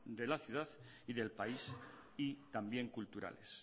de la ciudad y del país y también culturales